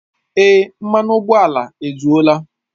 Èé, mmanụ ụgbọala ezuola